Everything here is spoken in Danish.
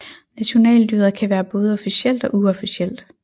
Nationaldyret kan være både officielt og uofficielt